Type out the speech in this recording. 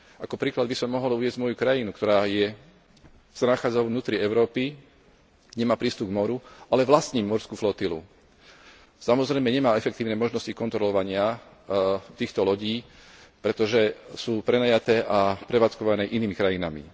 Ako príklad by som mohol uviesť moju krajinu, ktorá sa nachádza vo vnútri Európy, nemá prístup k moru, ale vlastní morskú flotilu. Samozrejme nemá efektívne možnosti kontrolovania týchto lodí, pretože sú prenajaté a prevádzkované inými krajinami.